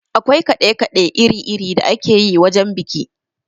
Akwai kaɗe kaɗe iri iri da akeyi wajen biki.